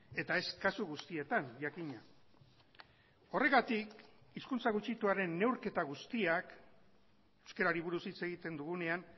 eta ez kasu guztietan jakina horregatik hizkuntza gutxituaren neurketa guztiak euskarari buruz hitz egiten dugunean